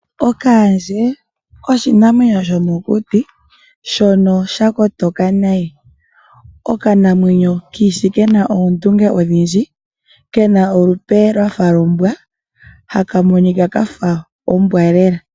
Okaandje oshinamwenyo shomokuti shono shakotoka nayi, okanamwenyo kiishi kena oondunge odhindji, kena olupe lwafa lombwa ko ohaka monika kafa ombwa lela.